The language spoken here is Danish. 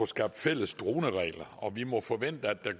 skabt fælles droneregler og at vi må forvente at der